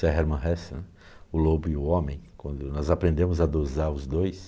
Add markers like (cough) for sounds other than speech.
(unintelligible) Hermann Hesse, o lobo e o homem, quando nós aprendemos a dosar os dois,